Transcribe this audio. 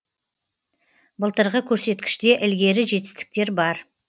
былтырғы көрсеткіште ілгері жетістіктер бар